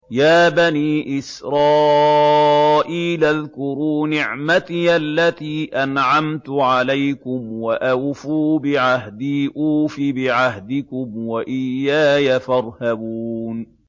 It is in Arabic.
يَا بَنِي إِسْرَائِيلَ اذْكُرُوا نِعْمَتِيَ الَّتِي أَنْعَمْتُ عَلَيْكُمْ وَأَوْفُوا بِعَهْدِي أُوفِ بِعَهْدِكُمْ وَإِيَّايَ فَارْهَبُونِ